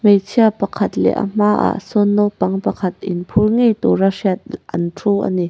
hmeichhia pakhat leh a hmaah sawn naupang pakhat in phur ngei tura hriat an thu a ni.